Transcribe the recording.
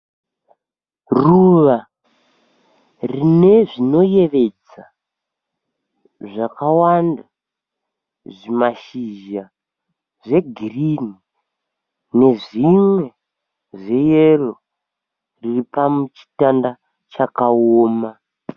Ruva rine zvinoyevedza zvakawanda, zvimashizha zvegirinhi nezvimwe zveyero riripachitanda chakaoma.